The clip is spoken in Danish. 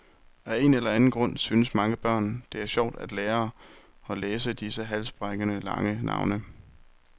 Af en eller anden grund synes mange børn, det er sjovt at lære og læse disse halsbrækkende lange navne.